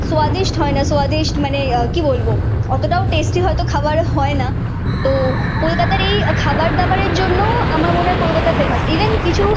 হয় না। মানে আহ কি বলবো? অতটাও টেস্টি হয়তো খাবারে হয় না। তো কলকাতার এই খাবার-দাবারের জন্যও আমার মনের কলকাতা ফেমাস। ইভেন কিছু